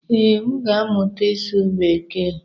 Ee, m ga-amụta ịsụ bekee.